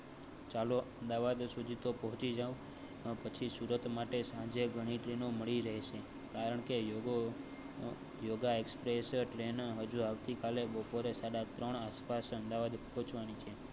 ચાલો અમદાવાદ સુધી પહોંચી જાઓ પછી સુરત માટે સાંજે ઘણી ટ્રેનો મળી રહેશે. કારણ કે યોગ. યોગા express ટ્રેન જો આવતીકાલે બપોરે સાડા ત્રણ આસપાસ અમદાવાદ. પોહવની છે